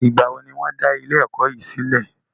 Nígbàwo ni wọn da ilé ẹ̀kọ́ yìí sílẹ̀?